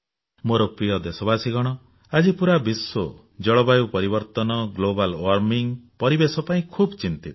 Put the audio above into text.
ମୋର ପ୍ରିୟ ଦେଶବାସୀଗଣ ଆଜି ପୁରା ବିଶ୍ୱ ଜଳବାୟୁ ପରିବର୍ତ୍ତନ ଗ୍ଲୋବାଲ ୱାର୍ମିଂ ପରିବେଶ ପାଇଁ ଖୁବ୍ ଚିନ୍ତିତ